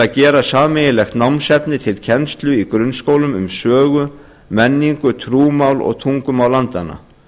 að gera sameiginlegt námsefni til kennslu í grunnskólum um sögu menningu trúmál og tungumál landanna